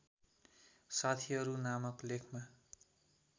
साथीहरू नामक लेखमा